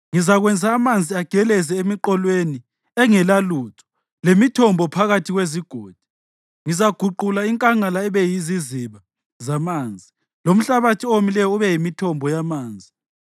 Ngizakwenza amanzi ageleze emiqolweni engelalutho lemithombo phakathi kwezigodi. Ngizaguqula inkangala ibe yiziziba zamanzi, lomhlabathi owomileyo ube yimithombo yamanzi.